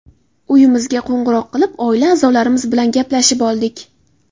Uyimizga qo‘ng‘iroq qilib, oila a’zolarimiz bilan gaplashib oldik.